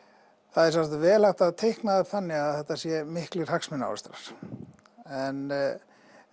það er sjálfsagt vel hægt að teikna það upp þannig að þetta séu miklir hagsmunaárekstrar en